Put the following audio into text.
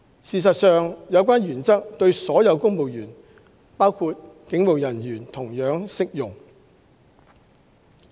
事實上，有關原則對所有公務員，包括警務人員，同樣適用。